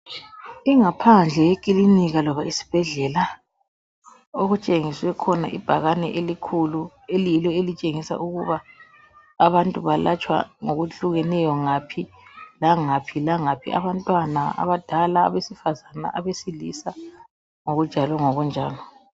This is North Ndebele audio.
ingaphandle yekilinika loba isibhedlela okutshengiswe khona ibhakane elikhulu eliyilo elitshengisa ukuba abantu balatshwa ngokuhlukeneyo ngaphi langaphi abantwana abadala abesifazana abesilisa ngokunjalo ngokunjalo